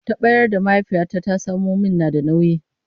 Taɓaryar da mahaifiyata ta samo min na da nauyi.